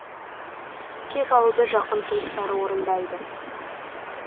кек алуды жақын туыстары орындайды